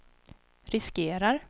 riskerar